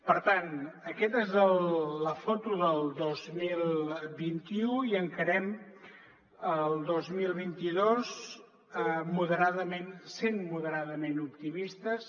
per tant aquesta és la foto del dos mil vint u i encarem el dos mil vint dos sent moderadament optimistes